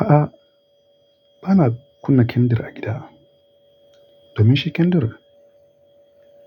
A'a, ba na kunna kendir a gida. Domin shi kendir,